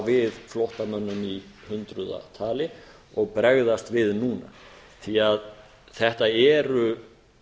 við flóttamönnum í hundraða tali og bregðast við núna því þetta eru